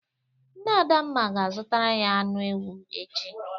Nne Adamma ga-azụtara ya anụ ewu echi.